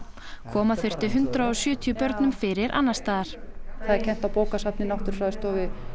koma þurfti hundrað og sjötíu börnum fyrir annars staðar það er kennt á bókasafni náttúrufræðistofu